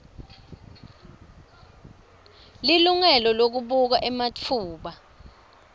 lilungelo lekubuka ematfuba